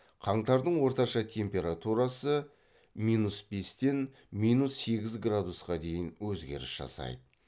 қаңтардың орташа температурасы минус бестен минус сегіз градусқа дейін өзгеріс жасайды